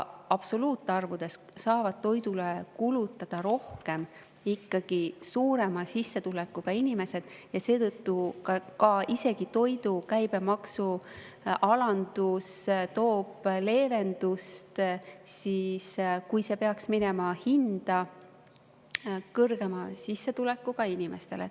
Absoluutarvudes saavad toidule rohkem kulutada ikkagi suurema sissetulekuga inimesed ja seetõttu toidu käibemaksu alandus, kui see peaks hindadesse kanduma, toob leevendust eriti just kõrgema sissetulekuga inimestele.